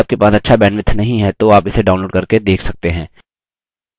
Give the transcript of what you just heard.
यदि आपके पास अच्छा bandwidth नहीं है तो आप इसे download करके देख सकते हैं